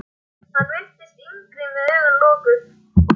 Hann virtist yngri með augun lokuð.